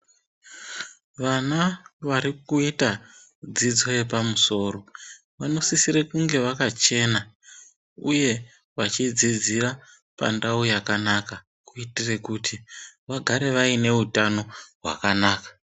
Vana vari kuita dzidzo yepamusoro vanosisire kunge vakachena uye vachidzidzira pandau yakanaka kuitire kuti vagare vaineutano hwakanaka.